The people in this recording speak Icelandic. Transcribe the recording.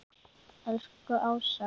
Elsku Ása.